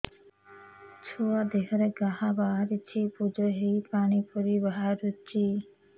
ଛୁଆ ଦେହରେ ଘା ବାହାରିଛି ପୁଜ ହେଇ ପାଣି ପରି ବାହାରୁଚି